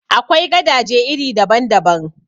Akwai gadaje iri daban daban.